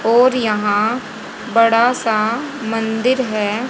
और यहां बड़ा सा मंदिर है।